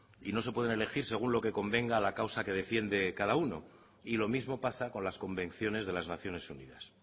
y no se pueden elegir según lo que convenga a la causa que defiende cada uno y lo mismo pasa con las convenciones de las naciones unidas